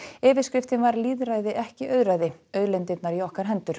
yfirskriftin var lýðræði ekki auðræði auðlindirnar í okkar hendur